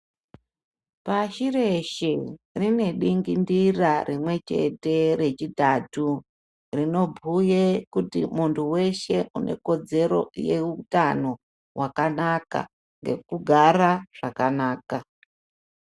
Pashi reshe rine dingindira rimwe chete rechitatu ,rinobhuye kuti muntu weshe unekodzero yeutano hwakanaka nekugara zvakanaka.